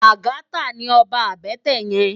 Lagata ni òbá àbètè yèn